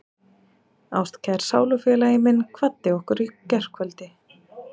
Ástkær sálufélagi minn kvaddi okkur í gærkvöldi.